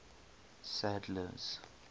sadler's